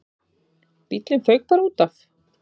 Bíllinn fauk bara útaf.